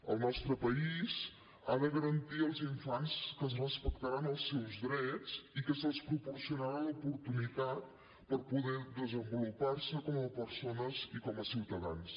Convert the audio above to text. el nostre país ha de garantir als infants que es respectaran els seus drets i que se’ls proporcionarà l’oportunitat per poder desenvolupar se com a persones i com a ciutadans